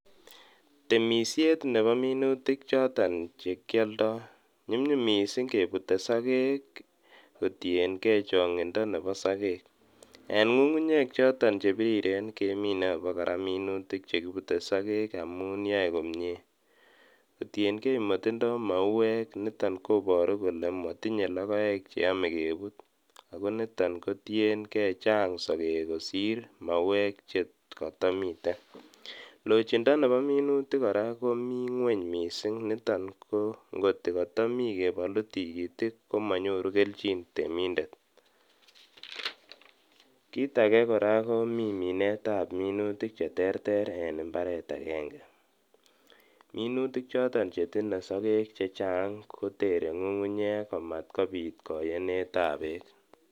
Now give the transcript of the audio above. Temishet nebo minutik choton chekioldo nyumnyum misink kebute sokek kotiengee chongindo nebo sokek en ngungunyek choton chebiriren kemine abokora minutik choton chekibute sokek ii amun yoe komie kotiengee motindo mauek niton koboru kole motinyee logoek che ome kebut ako niton kotiengee chang sokek kosir mauek chekotomiten lochindo nebo minutik komi ngweny kot misink niton ngot kokotomi kebolu tigitik komonyoru keljin temindet kit ake koraa komi minutikab monutik cheterter en imbaret agenge minutik chechang choton chetinye sokek kotoreti ngungunyek kot komabit koyenetab beek.